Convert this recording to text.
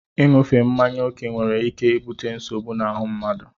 Ịṅufe mmanya oke nwere ike ibute nsogbu na ahụ mmadụ.